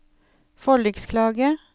forliksklage